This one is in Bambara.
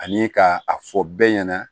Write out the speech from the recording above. Ani ka a fɔ bɛɛ ɲɛna